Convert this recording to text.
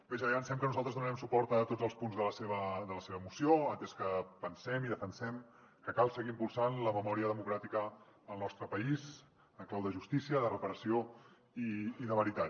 bé ja avancem que nosaltres donarem suport a tots els punts de la seva moció atès que pensem i defensem que cal seguir impulsant la memòria democràtica al nostre país en clau de justícia de reparació i de veritat